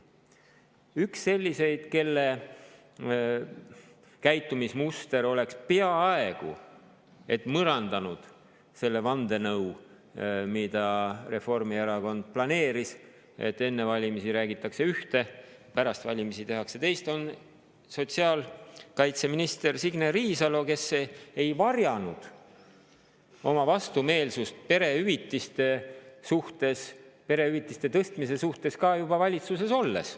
Üks selliseid, kelle käitumismuster oleks peaaegu et mõrandanud selle vandenõu, mida Reformierakond planeeris, et enne valimisi räägitakse ühte, pärast valimisi tehakse teist, oli sotsiaalkaitseminister Signe Riisalo, kes ei varjanud oma vastumeelsust perehüvitiste tõstmise suhtes ka juba valitsuses olles.